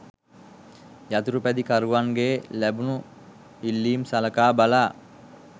යතුරු පැදි කරුවන්ගේ ලැබුණු ඉල්ලීම් සලකා බලා